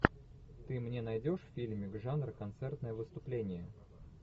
ты мне найдешь фильмик жанр концертное выступление